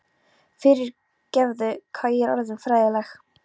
Fyrir- gefðu, hvað ég er orðin fræðileg.